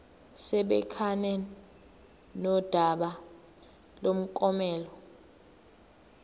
sibhekane nodaba lomklomelo